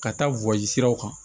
Ka taa wɔsi siraw kan